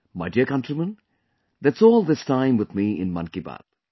My dear countrymen, that's all this time with me in 'Mann Ki Baat'